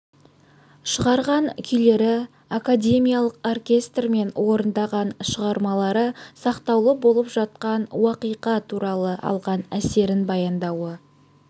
шығарған күйлері академиялық оркестрмен орындаған шығармалары сақтаулы болып жатқан уақиға туралы алған әсерін баяндауы